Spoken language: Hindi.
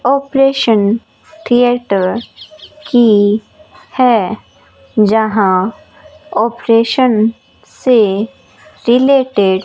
ऑपरेशन थिएटर की है जहां ऑपरेशन से रिलेटेड --